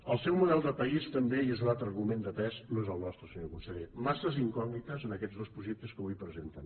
el seu model de país i també és un altre argument de pes no és el nostre senyor conseller massa incògnites en aquests dos projectes que avui presenten